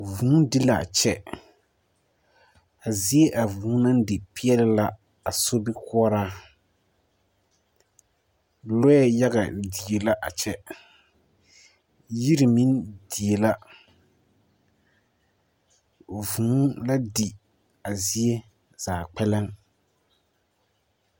Vuu di la a kyɛ, a zie a vuu naŋ di peɛle la a sobikoɔraa, lɔɛ yaga die la a kyɛ, yiri meŋ die la, vuu la di a zie kpɛlɛm. 13357